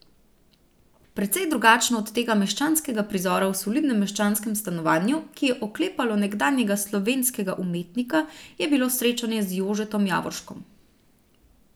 Precej drugačno od tega meščanskega prizora v solidnem meščanskem stanovanju, ki je oklepalo nekdanjega slovenskega umetnika, je bilo srečanje z Jožetom Javorškom.